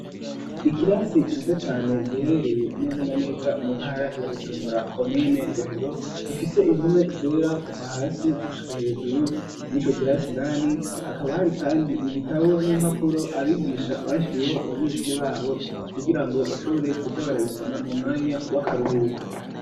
Ikirasi ciza cane giherereye neza na neza mu ntara ya Bujumbura komine Rohero gifise impome zera kuva hasi gushika hejuru mwico kirasi indani hakaba hari kandi ibitabo n'impapuro abigisha bashiriyeho abanyeshuri babo kugirango bashobore kuja bara bisoma mu mwanya w'akaruhuko.